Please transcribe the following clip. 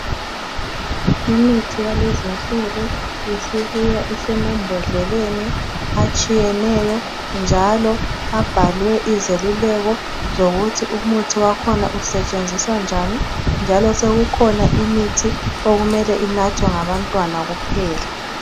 Imithi yalezinsuku isibuya isemambodleleni atshiyeneyo njalo abhalwe izeluleko zokuthi umuthi wakhona usetshenziswa njani njalo sokukhona imithi okumele inathwe ngabantwana kuphela.